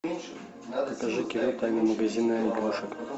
покажи кино тайна магазина игрушек